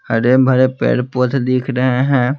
हरे भरे पैर पोथ दिख रहे हैं।